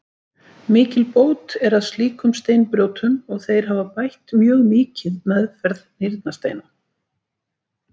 Mikil bót er að slíkum steinbrjótum og þeir hafa bætt mjög mikið meðferð nýrnasteina.